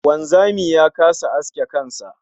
Wanzami ya kasa aske kan sa